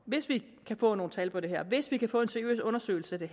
hvis vi kan få nogle tal på det her hvis vi kan få en seriøs undersøgelse af det